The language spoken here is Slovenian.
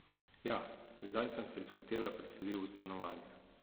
Ja, zdaj sem se iz hotela preselil v stanovanje.